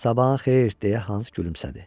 Sabahın xeyir, deyə Hans gülümsədi.